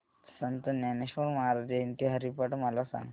संत ज्ञानेश्वर महाराज जयंती हरिपाठ मला सांग